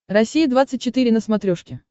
россия двадцать четыре на смотрешке